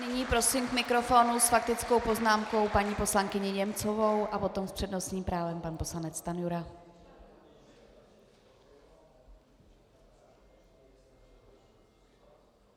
Nyní prosím k mikrofonu s faktickou poznámkou paní poslankyni Němcovou a potom s přednostním právem pan poslanec Stanjura.